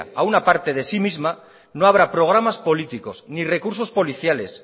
a una parte de sí misma no habrá programas políticos ni recursos policiales